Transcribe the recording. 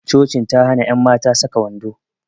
Cocin ta hana ƴan mata saka wando